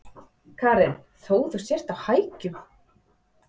Karen: Þó þú sért á hækjum?